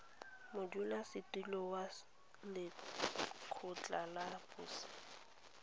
modulasetulo wa lekgotla la boset